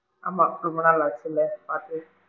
ஆமா! ரொம்ப நாள் ஆச்சுல பாத்து.